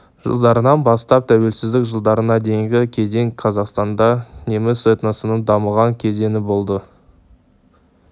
жылдарынан бастап тәуелсіздік жылдарына дейінгі кезең қазақстанда неміс этносының дамыған кезеңі болды